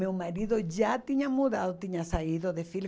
Meu marido já tinha mudado, tinha saído de